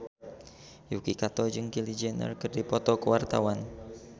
Yuki Kato jeung Kylie Jenner keur dipoto ku wartawan